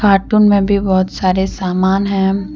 आर्टून में भी बहुत सारे सामान है।